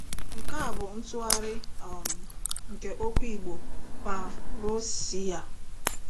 Nke a bụ ntụgharị um nke okwu igbo pa.rou.si' a.